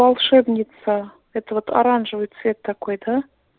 волшебница это вот оранжевый цвет такой да